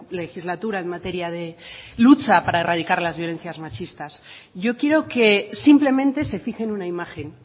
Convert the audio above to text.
legislatura en materia de lucha para erradicar las violencias machistas yo quiero que simplemente se fije en una imagen